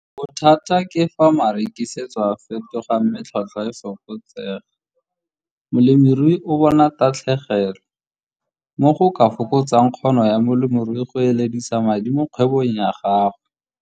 Bothata ke fa marekisetso a fetoga mme tlhotlhwa e fokotsega, molemirui o bona tatlhegelo, mo go ka fokotsang kgono ya molemirui go eledisa madi mo kgwebong ya gagwe.